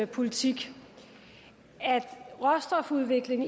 politik at råstofudvikling